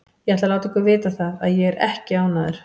Ég ætla að láta ykkur vita það að ÉG er ekki ánægður.